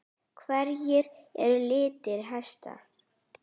Hverjir eru litir hesta?